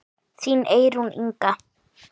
Þín Eyrún Inga.